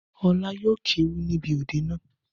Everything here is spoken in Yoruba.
Ọlá yóò kéwì níbi òde naa.